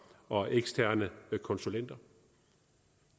og eksterne konsulenter